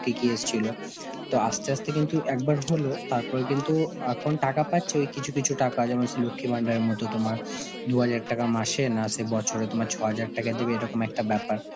কি কি এসছিল, তো আস্তে আস্তে কিন্তু একবার হল তারপরে কিন্তু এখন টাকা পাচ্ছে, কই কিছু কিছু যেমন সেই লক্ষ্মীর ভান্ডারের মতন তোমার দু’হাজার টাকা মাসে না সেই বছরে তোমার ছ’হাজার টাকা দিবে এরকম একটা ব্যাপার.